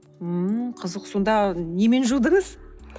ммм қызық сонда немен жудыңыз